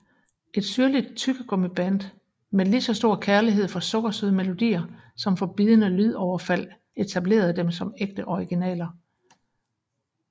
Et syrligt tyggegummiband med lige så stor kærlighed for sukkersøde melodier som for bidende lydoverfald etablerede dem som ægte originaler